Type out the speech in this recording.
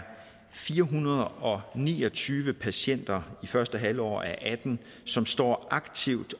fire hundrede og ni og tyve patienter i første halvår af og atten som står aktivt